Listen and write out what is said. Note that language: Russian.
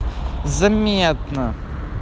заметно